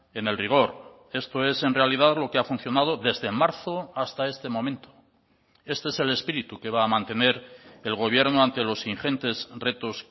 en el rigor esto es en realidad lo que ha funcionado desde marzo hasta este momento este es el espíritu que va a mantener el gobierno ante los ingentes retos